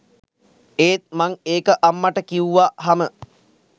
ඒත් මං ඒක අම්මට කිව්වහම